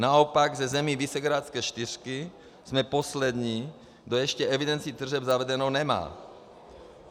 Naopak, ze zemí Visegrádské čtyřky jsme poslední, kdo ještě evidenci tržeb zavedenou nemá.